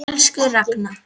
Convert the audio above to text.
Elsku Ragna.